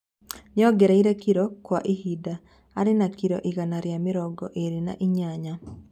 Niarongereire kilo na kwi hindi ari na kilo igana ria mirongo iri na inyanya